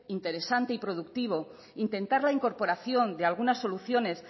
interesante y productivo intentar la incorporación de algunas soluciones